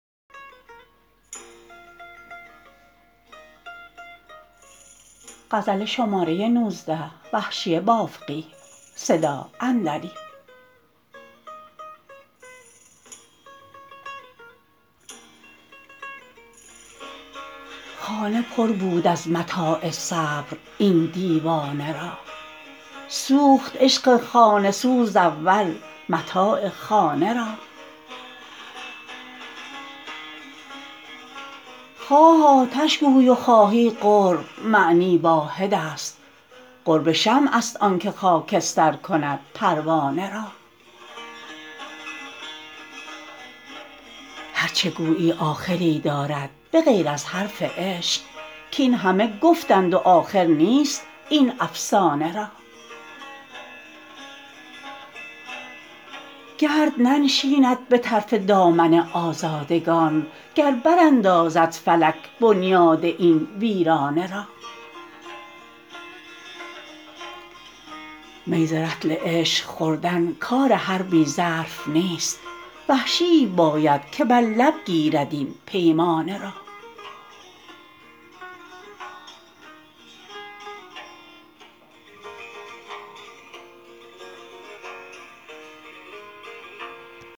خانه پر بود از متاع صبر این دیوانه را سوخت عشق خانه سوز اول متاع خانه را خواه آتش گوی و خواهی قرب معنی واحد است قرب شمع است آنکه خاکستر کند پروانه را هر چه گویی آخری دارد به غیر از حرف عشق کاینهمه گفتند و آخر نیست این افسانه را گرد ننشیند به طرف دامن آزادگان گر براندازد فلک بنیاد این ویرانه را می ز رطل عشق خوردن کار هر بی ظرف نیست وحشیی باید که بر لب گیرد این پیمانه را